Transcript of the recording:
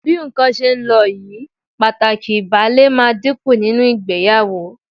Bí nǹkan ṣe ń lọ yìí, pàtàkì ìbálé máa dínkù nínú ìgbéyàwó